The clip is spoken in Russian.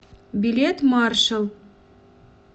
билет маршал